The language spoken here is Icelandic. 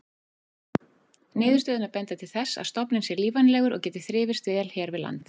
Niðurstöðurnar benda til þess að stofninn sé lífvænlegur og geti þrifist vel hér við land.